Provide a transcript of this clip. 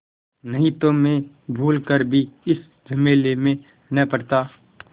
नहीं तो मैं भूल कर भी इस झमेले में न पड़ता